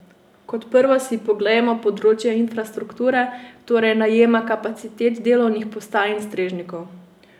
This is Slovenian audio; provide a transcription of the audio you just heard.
Kot prvo si poglejmo področje infrastrukture, torej najema kapacitet delovnih postaj in strežnikov.